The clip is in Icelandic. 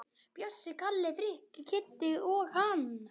Bjössi, Kalli, Frikki, Kiddi og hann.